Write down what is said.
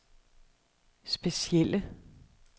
specielle